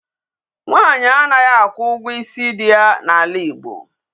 Nwanyi anaghị akwụ ugwo isi di ya n'ala Igbo.